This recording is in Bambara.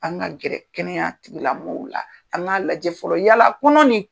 An ka gɛrɛ kɛnɛya tigila maaw la an ka lajɛ fɔlɔ yalala kɔnɔni